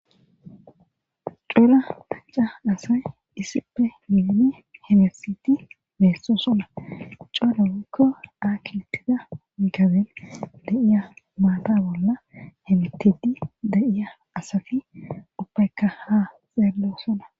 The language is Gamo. cuura qacca asay issippe miidi hemesiti meesso sona coalawukko aakitida gaben da7iya maata bolla hemtidi da7iya asafi uppaykka haa xeello sona